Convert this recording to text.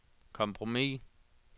kompromis